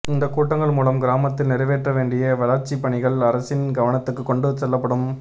இந்த கூட்டங்கள் மூலம் கிராமத்தில் நிறைவேற்ற வேண்டிய வளர்ச்சி பணிகள் அரசின் கவனத்துக்கு கொண்டு செல்லப்படும்